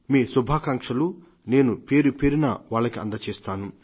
మీ శుభాకాంక్షలు నేను పేరుపేరునా వాళ్లకి అందజేస్తాను